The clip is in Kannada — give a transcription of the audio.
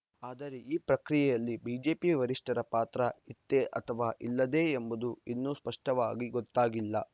ಆದರೆ ಈ ಪ್ರಕ್ರಿಯೆಯಲ್ಲಿ ಬಿಜೆಪಿ ವರಿಷ್ಠರ ಪಾತ್ರ ಇತ್ತೇ ಅಥವಾ ಇಲ್ಲದೆ ಎಂಬುದು ಇನ್ನೂ ಸ್ಪಷ್ಟವಾಗಿ ಗೊತ್ತಾಗಿಲ್ಲ